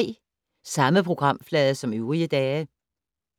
Samme programflade som øvrige dage